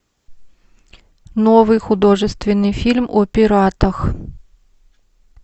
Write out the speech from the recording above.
новый художественный фильм о пиратах